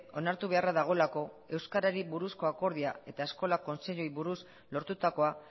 onartu beharra dagoelako euskarari buruzko akordioa eta eskola kontseiluei buruz lortutakoa